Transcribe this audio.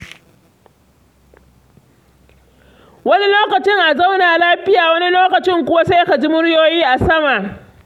Wani lokacin a zauna lafiya wani lokacin kuwa sai ka ji muryoyi a sama.